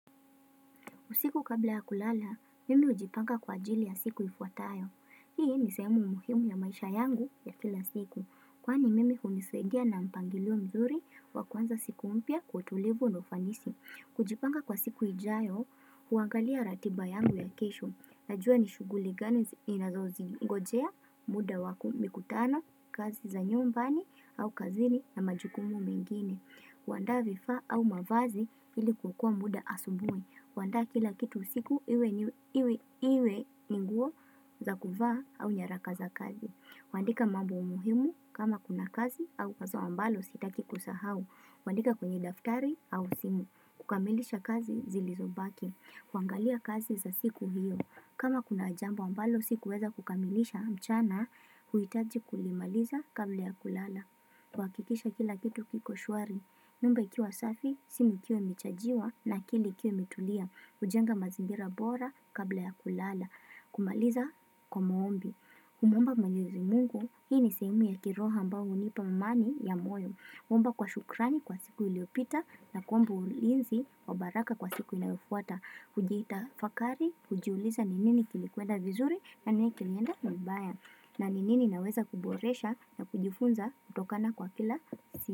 Usiku kabla ya kulala, mimi hujipanga kwa ajili ya siku ifuatayo. Hii nisehemu muhimu ya maisha yangu ya kila siku. Kwani mimi hunisaidia na mpangilio mzuri wakuanza siku mpya kwa utulivu na ufanisi. Kujipanga kwa siku ijayo, huangalia ratiba yangu ya kesho. Najua nishughuli gani inazozingojea, muda waku mikutano, kazi za nyumbani au kazini na majukumu mengine. Huandaa vifaa au mavazi ili kuokoa muda asubui. Huandaa kila kitu usiku iwe ni nguo za kuvaa au nyaraka za kazi. Huandika mambo muhimu kama kuna kazi au wazo ambalo sitaki kusahau. Huandika kwenye daftari au simu. Kukamilisha kazi zilizobaki. Kuangalia kazi za siku hiyo. Kama kuna jambo ambalo sikuweza kukamilisha mchana, huitaji kulimaliza kabla ya kulala. Kuhakikisha kila kitu kiko shwari. Nyumba ikiwa safi, simu ikiwa imechajiwa na akili ikiwa imetulia, hujenga mazingira bora kabla ya kulala. Kumaliza kwa maombi. Kumuomba mwenyezi mungu, hii ni sehemu ya kiroho ambao hunipa amani ya moyo. Kuomba kwa shukrani kwa siku iliyopita na kuomba ulinzi wa baraka kwa siku inayofuata. Hujitafakari, hujiuliza ni nini kilikwenda vizuri na nini kilienda vibaya. Na ni nini naweza kuboresha na kujifunza kutokana kwa kila si.